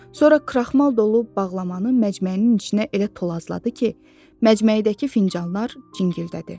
Sonra kraxmal dolu bağlamanı məcməyinin içinə elə tolasladı ki, məcməyidəki fincanlar cingildədi.